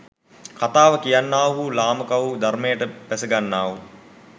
කථාව කියන්නාහු ලාමකවූ ධර්‍මයට බැසගන්නාහු